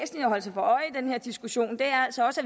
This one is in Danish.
jeg den her diskussion altså også